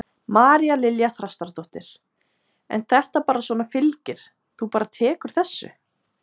María Lilja Þrastardóttir: En þetta bara svona fylgir, þú bara tekur þessu?